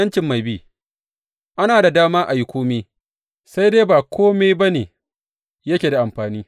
’Yancin mai bi Ana da dama a yi kome sai dai ba kome ba ne yake da amfani.